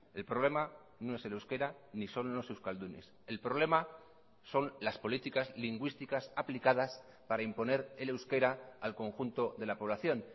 el problema no es el euskera ni son los euskaldunes el problema son las políticas lingüísticas aplicadas para imponer el euskera al conjunto de la población